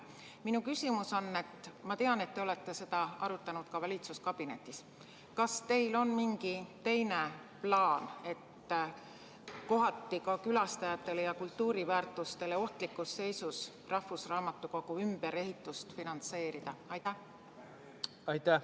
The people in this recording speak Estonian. Minu küsimus on järgmine – ma tean, et te olete seda teemat ka valitsuskabinetis arutanud: kas teil on mingisugune teine plaan, kuidas külastajatele ja kultuuriväärtustele kohati ohtlikus seisus oleva rahvusraamatukogu hoone ümberehitust finantseerida?